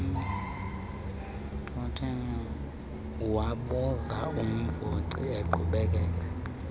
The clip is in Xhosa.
wabuza umvoci eqhubekeka